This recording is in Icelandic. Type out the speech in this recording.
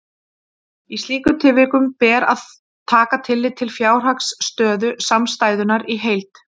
Í slíkum tilvikum ber að taka tillit til fjárhagsstöðu samstæðunnar í heild.